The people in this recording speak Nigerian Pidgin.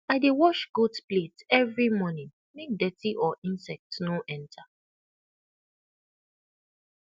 i dey wash goat plate every morning make dirty or insect no enter